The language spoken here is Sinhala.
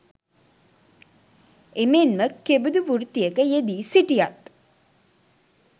එමෙන්ම කෙබඳු වෘත්තියක යෙදී සිටියත්